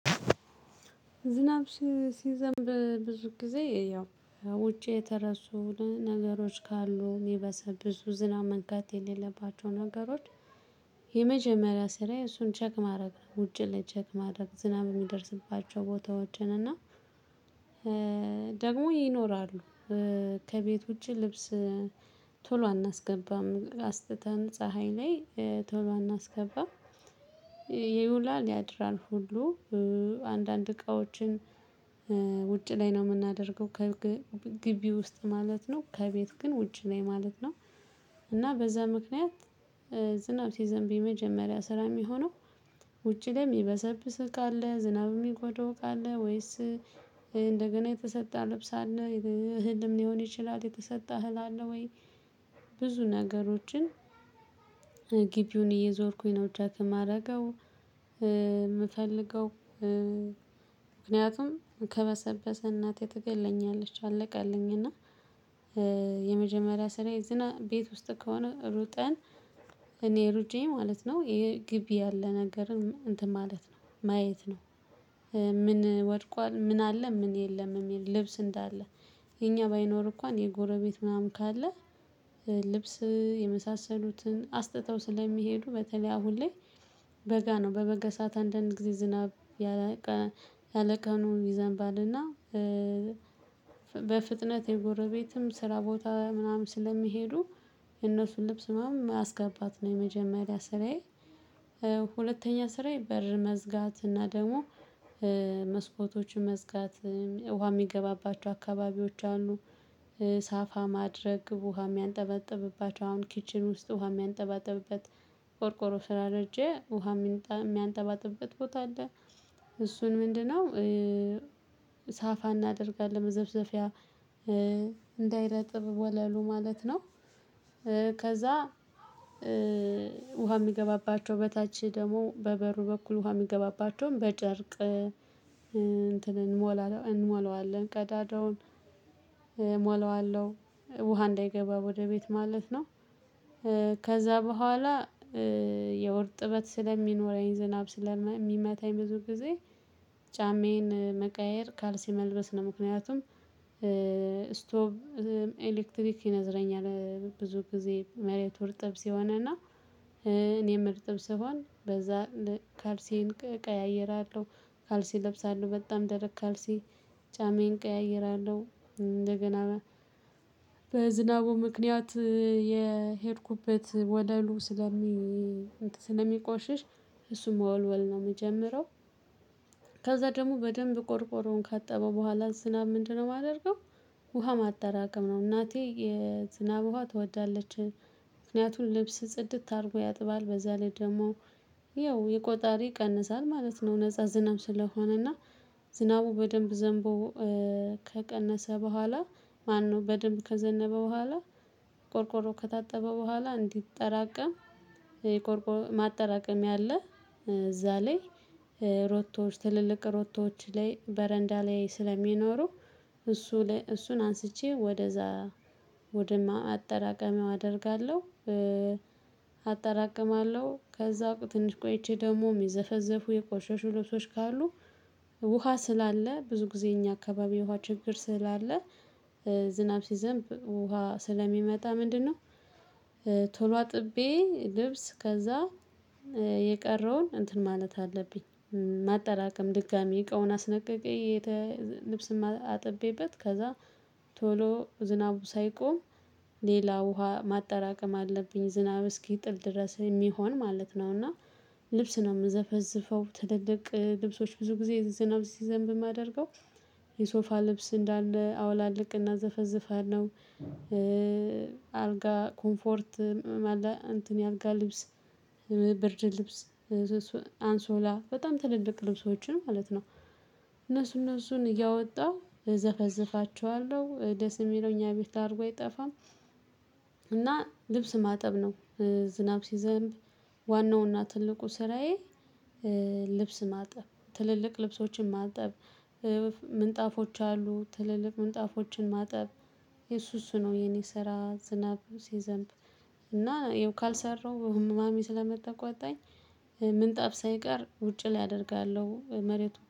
ዝናብ ሲዘምብ ብዙ ጊዜ ያው ውጪ የተረሱ ነገሮች ካሉ የሚበሰበሱ ዝናብ መንካት የሌለባቸው ነገሮች። የመጀመሪያ ስራዬ የእሱን ቼክ ማድረግ ውጪ ላይ ቼክ ማድረግ ዝናብ የሚደርስባቸው ቦታዎችን እና ደግሞ ይኖራሉ። ከቤት ውጪ ልብስ ቶሎ አናስገባም አስጥተን ፀሀይ ላይ ቶሎ አናስገባም። ይውላል ያድራል ሁሉ አንዳንድ እቃዎችን ውጭ ላይ ነው የምናደርገው ከግቢ ውስጥ ማለት ነው ከቤት ግን ውጭ ላይ ማለት ነው። እና በዛ ምክንያት ዝናብ ሲዘንብ የመጀመሪያ ስራ የሚሆነው። ውጪ ላይ የሚበሰብስ እቃ አለ ዝናብ የሚጎዳው እቃ አለ ወይስ እንደገና የተሰጣ ልብስ አለ። እህልም ሊሆን ይችላል የተሰጣ እህል አለ ወይ ብዙ ነገሮችን ግቢውን እየዞርኩኝ ነው ቼክ የማደርገው። የምፈልገው ምክንያቱም ከበሰበሰ እናቴ ትገለኛለች አለቀልኝ እና። የመጀመሪያ ስራ ዝና ቤት ውስጥ ከሆነ ሩጠን እኔ ሩጬ ማለት ነው ግቢ ያለ ነገርን እንትን ማለት ነው ማየት ነው። ምን ወድቋል ምን አለ ምን የለም የሚል ልብስ እንዳለ የኛ ባይኖር እንኳን የጎረቤት ምናምን ካለ። ልብስ የመሳሰሉትን አስጥተው ስለሚሄዱ በተለይ አሁን ላይ በጋ ነው በበጋ ሰዓት አንዳንድ ጊዜ ዝናብ ያለቀኑ ይዘንባልና። በፍጥነት የጎረቤትም ስራ ቦታ ምናምን ስለሚሄዱ የእነሱን ልብስ ምናምን ማስገባት ነው የመጀመሪያ ስራዬ። ሁለተኛ ስራዬ በር መዝጋት እና ደግሞ መስኮቶችን መዝጋት ውሃ የሚገባባቸው አካባቢዎች አሉ። ሳፋ ማድረግ ውሃ የሚያንጠበጥብባቸው አሁን ኪችን ውስጥ ውሃ የሚያንጠባጥብበት ቆርቆሮ ስራ ስላረጀ ውሃ የሚያንጠባጥብበት ቦታ አለ። እሱን ምንድነው? ሳፋ እናደርጋለን መዘፍዘፊያ እንዳይረጥብ ወለሉ ማለት ነው። ከዛ ውሃ የሚገባባቸው በታች ደግሞ በበሩ በኩል ውሃ የሚገባባቸውን በጨርቅ እንትን እንሞላዋለን ቀዳዳውን እሞላዋለሁ ውሃ እንዳይገባ ወደ ቤት ማለት ነው። ከዛ በኋላ ያው እርጥበት ስለሚኖረኝ ዝናብ ስለሚመታኝ ብዙ ጊዜ ጫሜዬን መቀየር ካልሲ መልበስ ነው። ምክንያቱም ስቶብ ኤሌክትሪክ ይነዝረኛል ብዙ ጊዜ መሬቱ እርጥብ ሲሆንና እኔም እርጥብ ስሆን በዛ ካልሲዬን ቀያይራለሁ። ካልሲ ለብሳለሁ በጣም ደረቅ ካልሲ ጫማዬን ቀያይራለሁ እንደገና በዝናቡ ምክንያት የሄድኩበት ወለሉ ስለሚ ስለሚቆሽሽ እሱ መወልወል ነው የምጀምረው። ከዛ ደግሞ በደንብ ቆርቆሮውን ካጠበው በኋላ ዝናብ ምንድነው የማደርገው? ውሃ ማጠራቀም ነው። እናቴ የዝናብ ውሃ ትወዳለች። ምክንያቱም ልብስ ጽድት አድርጎ ያጥባል በዛ ላይ ደግሞ ይኸው የቆጣሪ ይቀንሳል ማለት ነው። ነፃ ዝናብ ስለሆነ እና ዝናቡ በደንብ ዘንቦ ከቀነሰ በኋላ ማነው በደንብ ከዘነበ በኋላ ቆርቆሮ ከታጠበ በኋላ እንዲጠራቀም የቆርቆር ማጠራቀሚያ አለ። እዛ ላይ ሮቶዎች ትልልቅ ሮቶዎች ላይ በረንዳ ላይ ስለሚኖሩ እሱ እሱን አንስቼ ወደዛ ወደ ማጠራቀሚያው አደርጋለሁ። አጠራቅማለሁ ከዛ ትንሽ ቆይቼ ደግሞ የሚዘፈዘፉ የቆሸሹ ልብሶች ካሉ ውሃ ስላለ ብዙ ጊዜ እኛ አካባቢ ውሃ ችግር ስላለ። ዝናብ ሲዘንብ ውሃ ስለሚመጣ ምንድነው? ቶሎ አጥቤ ልብስ ከዛ የቀረውን እንትን ማለት አለብኝ ማጠራቀም ድጋሚ እቃውን አስለቅቄ ልብስም አጥቤበት ከዛ ቶሎ ዝናቡ ሳይቆም ሌላ ውሃ ማጠራቀም አለብኝ። ዝናብ እስኪጥል ድረስ የሚሆን ማለት ነው። እና ልብስ ነው የምዘፈዝፈው ትልልቅ ልብሶች ብዙ ጊዜ ዝናብ ሲዘንብ የማደርገው የሶፋ ልብስ እንዳለ አውላልቅና ዘፈዝፋለሁ። አልጋ ኮምፎርት እንትን የአልጋ ልብስ ብርድ ልብስ አንሶላ በጣም ትልልቅ ልብሶችን ማለት ነው። እነሱ እነሱን እያወጣሁ እዘፈዝፋቸዋለሁ ደስ የሚለው እኛ ቤት ላርጎ አይጠፋም። እና ልብስ ማጠብ ነው። ዝናብ ሲዘንብ ዋናውና ትልቁ ስራዬ። ልብስ ማጠብ ትልልቅ ልብሶችን ማጠብ ምንጣፎች አሉ ትልልቅ ምንጣፎችን ማጠብ የሱ እሱ ነው የኔ ስራ ዝናብ ሲዘንብ። እና ይኸው ካልሰራው ማሚ ስምትቆጣኝ ምጣፍ ሳይቀር ውጪ ላይ አደርጋለሁ መሬቱ